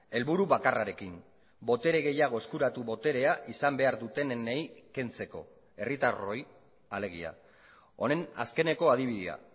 helburu bakarrarekin botere gehiago eskuratu boterea izan behar dutenei kentzeko herritarroi alegia honen azkeneko adibidea